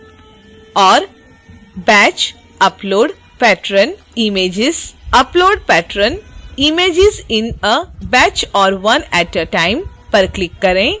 और batch_upload_patron_images upload patron images in a batch or one at a time पर click करें